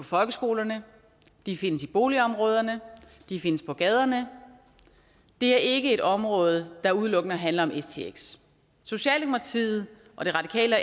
folkeskolerne de findes i boligområderne og de findes på gaderne det er ikke et område der udelukkende handler om stx socialdemokratiet radikale